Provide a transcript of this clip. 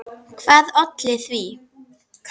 Hvað olli því?